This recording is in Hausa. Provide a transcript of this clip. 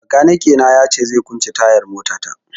Bakanike na ya ce zai kwance tayar mota ta